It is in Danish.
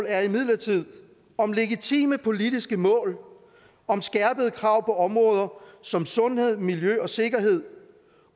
er imidlertid om legitime politiske mål om skærpede krav på områder som sundhed miljø og sikkerhed